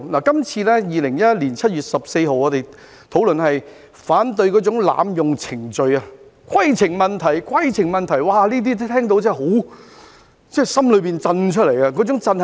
這次 ，2021 年7月14日，我們討論反對濫用程序，"規程問題"、"規程問題"，這些聽到真的從內心震出來，那種震是甚麼呢？